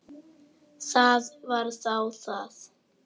Það var þá það.